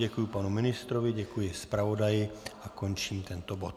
Děkuji panu ministrovi, děkuji zpravodaji a končím tento bod.